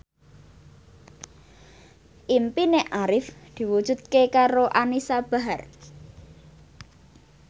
impine Arif diwujudke karo Anisa Bahar